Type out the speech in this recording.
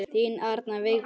Þín Arna Vigdís.